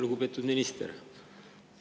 Lugupeetud minister!